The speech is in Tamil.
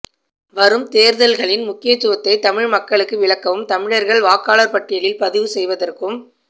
வரும் தேர்தல்களின் முக்கியத்துவத்தை தமிழ் மக்களுக்கு விளக்கவும் தமிழர்கள் வாக்காளர் பட்டியலில் பதிவு செய்வதற்கும்